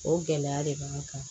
O gɛlɛya de b'an kan